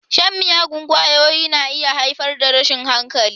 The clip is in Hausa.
Shan miyagun ƙwayoyi na iya haifar da rashin hankali.